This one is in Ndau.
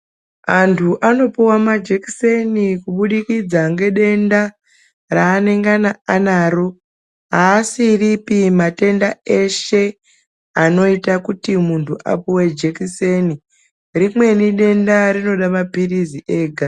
Antu anopuwa majekiseni kubudikidza nge denda raanenga anaro aasiripi matenda eshe anoita kuti muntu apuwe jekiseni rimweni denda rinoda mapirizi ega.